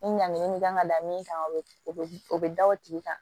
Ni ɲanginin min kan ka da min kan o bɛ o bɛ da o tigi kan